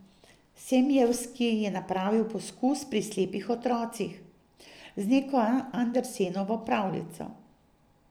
Semjevski je napravil poskus pri slepih otrocih z neko Andersenovo pravljico.